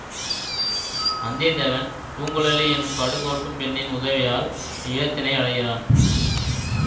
வந்திய தேவன் பூங்குழலி எனும் படுகோட்டும் பெண்ணின் உதவியால் ஈழத்தினை அடைகிறான்